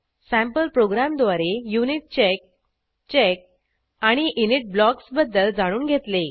sample प्रोग्रॅमद्वारे unit check check आणि init blocks बद्दल जाणून घेतले